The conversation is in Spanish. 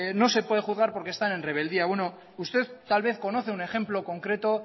no se puede juzgar por que están en rebeldía bueno usted tal vez conoce un ejemplo concreto